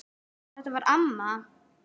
Þetta var amma.